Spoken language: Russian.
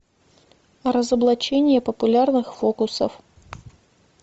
разоблачение популярных фокусов